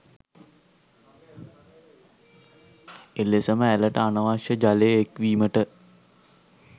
එලෙසම ඇළට අනවශ්‍ය ජලය එක්වීමට